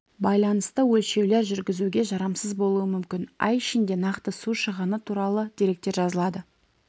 байланысты өлшеулер жүргізуге жарамсыз болуы мүмкін ай ішінде нақты су шығыны туралы деректер жазылады